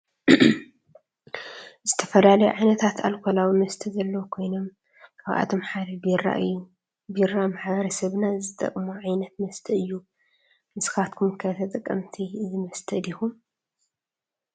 ዝተፈላለዩ ዓይነታት አልኮላዊ መስተ ዘለው ኮይኖም ካብአቶም ሓደ ቢራ እዩ። ቢራ ማሕበረሰብና ዝጥቀሞ ዓይነት መስተ እዩ ንስካትኩም ከ ተጠቀምቲ እዚ መስተ ዲኩም?